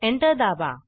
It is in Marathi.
एंटर दाबा